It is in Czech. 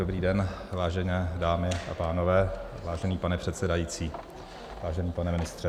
Dobrý den, vážené dámy a pánové, vážený pane předsedající, vážený pane ministře.